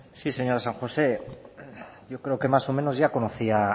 sí señora san josé yo creo que más o menos ya conocía